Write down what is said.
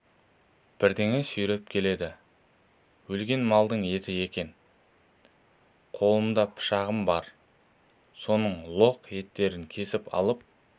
бірдеңе сүйретіп келеді өлген малдың еті екен қолымда пышағым бар соның лоқ еттерін кесіп алып